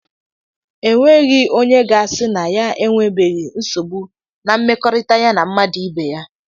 E nweghị onye ga-asị ya e nwebeghị nsogbu na mmekọrịta ya na mmadụ ibe ya.